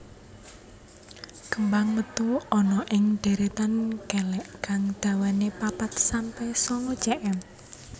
Kembang metu ana ing deretan kelek kang dhawane papat sampe sanga cm